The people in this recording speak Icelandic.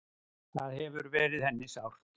Það hefur verið henni sárt.